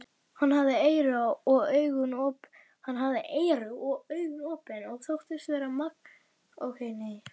Hann hafði eyru og augu opin og þóttist verða margs vísari um Íslendinga.